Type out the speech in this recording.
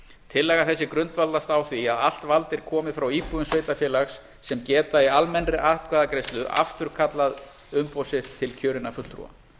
tillaga þessi grundvallast á því að allt vald er komið frá íbúum sveitarfélags sem geta í almennri atkvæðagreiðslu afturkallað umboð sitt til kjörinna fulltrúa